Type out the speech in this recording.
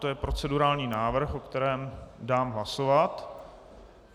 To je procedurální návrh, o kterém dám hlasovat.